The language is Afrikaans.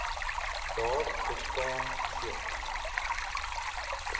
daar bestaan geen